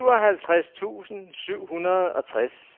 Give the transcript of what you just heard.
syvoghalvtreds tusind syv hundrede og tres